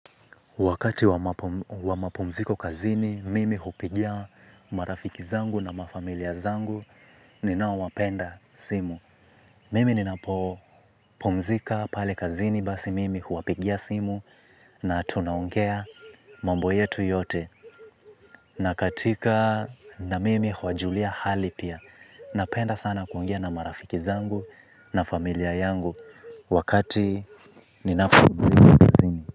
Wakati wa mapumziko kazini, mimi hupigia marafiki zangu na mafamilia zangu ninaowapenda simu. Mimi ninapopumzika pale kazini basi mimi huwapigia simu na tunaongea mambo yetu yote. Na katika na mimi huwajulia hali pia, napenda sana kuongea na marafiki zangu na familia yangu wakati ninapumzika kazini.